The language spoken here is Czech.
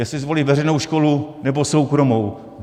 Jestli zvolí veřejnou školu, nebo soukromou.